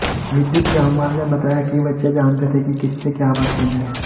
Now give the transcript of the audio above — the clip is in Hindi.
विद्युत जामवाल ने बताया किबच्चे जानते थे कि किससे क्या बात करनी है